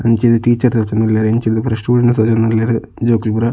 ಅಂಚಿರ್ದ್ teacher ತೋಜೊಂದುಲ್ಲೆರ್ ಇಂಚಿರ್ದ್ ಪೂರ ಸ್ಟೂಡೆಂಟ್ಸ್ ತೋಜೊಂದುಲ್ಲೆರ್ ಜೋಕುಲು ಪೂರ.